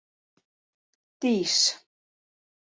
Dís